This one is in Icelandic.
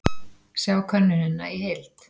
Sjá könnunina í heild